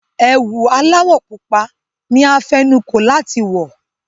Ẹ̀wù aláwọ̀ pupa ni a fẹnukó láti wọ̀.